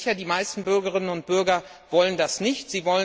Ich bin mir sicher, die meisten Bürgerinnen und Bürger wollen das nicht.